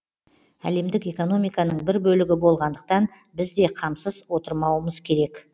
әлемдік экономиканың бір бөлігі болғандықтан біз де қамсыз отырмауымыз керек